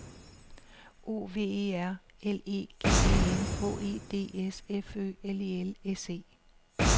O V E R L E G E N H E D S F Ø L E L S E